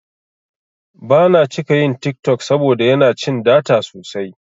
Bana cika yin TikTok saboda yana cin data sosai.